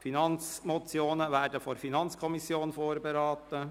Finanzmotionen werden von der FiKo vorberaten.